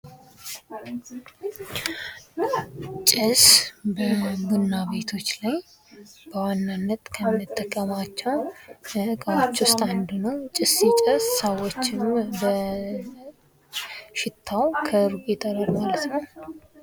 ጭስ በቡና ቤቶች ላይ በዋናነት ከምንጠቀማቸው አንዱ ነው። ጭስ ሲጨስ ሰዎችን በሽታው ከሩቅ ይጠራል ማለት ነው።